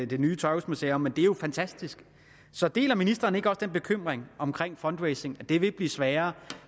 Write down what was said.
det nye tøjhusmuseum men det er jo fantastisk så deler ministeren ikke også den bekymring om fundraising at det vil blive sværere